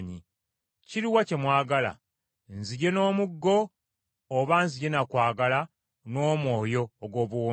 Kiruwa kye mwagala? Nzije n’omuggo, oba nzije na kwagala n’omwoyo ogw’obuwombeefu?